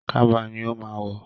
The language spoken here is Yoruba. Kaba ni ó ma wọ̀